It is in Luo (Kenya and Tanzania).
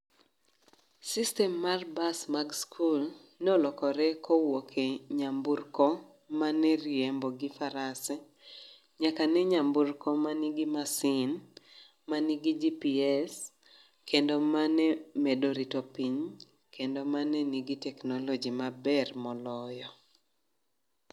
System mar bas mag skul, nolokore kowuok e nyamburko mane riembo gi farase. Nyaka ne nyaburko ma nigi masin, ma nigi GPS, kendo mane med rito piny. Kendo mane nigi teknoloji maber moloyo.